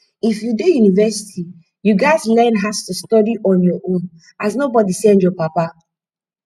if u dey university u ghas learn as to study on ur own as nobody send ur papa